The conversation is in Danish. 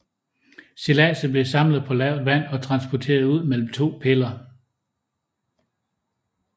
Stilladset blev samlet på lavt vand og transporteret ud mellem to piller